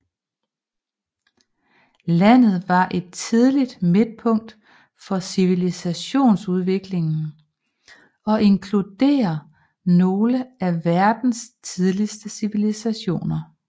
Landet var et tidlig midtpunkt for civilisationsudviklingen og inkluderer nogen af verdens tidligste civilisationer